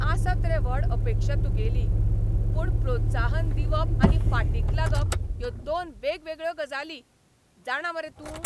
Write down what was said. आसत रे व्हड अपेक्षा तुगेली, पूण प्रोत्साहन दिवप आनी फाटीक लागप ह्यो दोन वेगवेगळ्यो गजाली, जाणा मरे तूं?